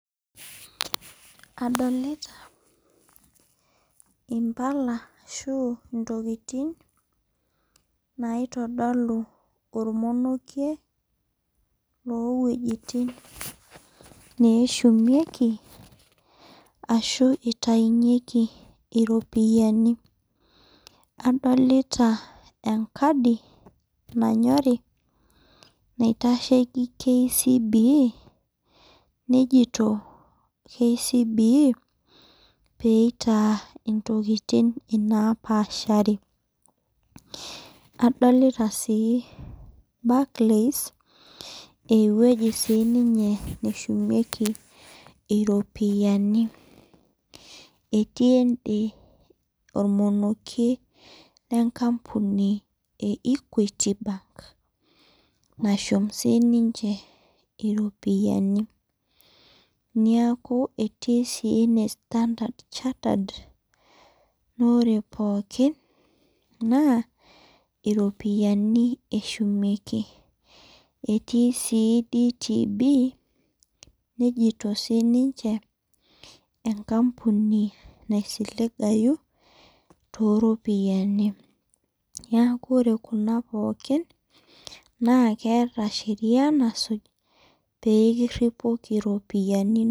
Adolita imbala asu ntokitin naitodolu ormonokie lowuejitin ashu nashumieki iropiyiani adolta enkadi nanyori naitashieki KCB nejito kcb peitaa ntokitin napaashari adolta si Barclays aa ewoi sinye nashumieki iropiyiani etii ende ormonokie le equity nashum sininche iropiyiani neaku etii sinye standard chartered na ore pooki na ropiyani eshumieki etii si dtb nejito sininche enkampuni naisiligayu toropiyani neaku ore kuna pooki n aleeta sheria nasuj pekiripoki ropiyani inonok.